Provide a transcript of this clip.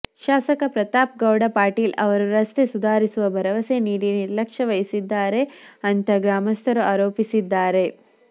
ಶಾಸಕ ಪ್ರತಾಪ್ ಗೌಡ ಪಾಟೀಲ್ ಅವರು ರಸ್ತೆ ಸುಧಾರಿಸುವ ಭರವಸೆ ನೀಡಿ ನಿರ್ಲಕ್ಷ್ಯವಹಿಸಿದ್ದಾರೆ ಅಂತ ಗ್ರಾಮಸ್ಥರು ಆರೋಪಿಸಿದ್ದಾರೆ